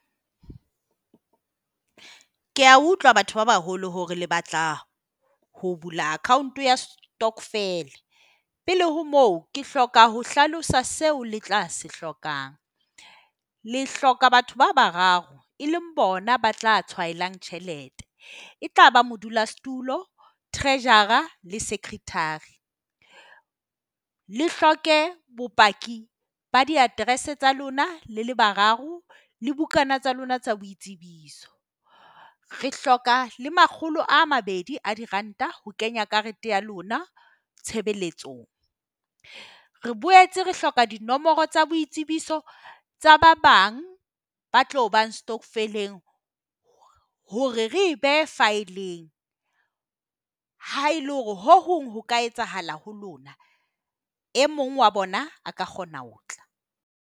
Ke a utlwa batho ba baholo hore le batla ho bula account ya stokvel. Pele ho moo, ke hloka ho hlalosa seo le tla se hlokang. Le hloka batho ba bararo, e leng bona ba tla tjhelete. E tlaba modulasetulo, treasurer le secretary. Le hloke bopaki ba di-address tsa lona le le bararo le bukana tsa lona tsa boitsebiso. Re hloka le makgolo a mabedi a diranta ho kenya karete ya lona tshebeletsong. Re boetse re hloka dinomoro tsa boitsebiso tsa ba bang, ba tlo bang stokvel-eng hore re e behe faeleng ha e le hore ho hong ho ka etsahala ho lona. E mong wa bona ka kgona ho tla.